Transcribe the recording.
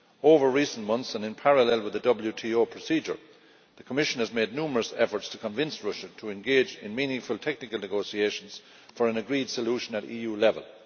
Over recent months and in parallel with the WTO procedure, the Commission has made numerous efforts to convince Russia to engage in meaningful technical negotiations for an agreed solution at EU level.